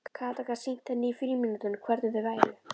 Kata gat sýnt henni í frímínútunum hvernig þau væru.